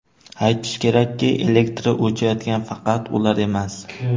Aytish kerakki, elektri o‘chayotgan faqat ular emas.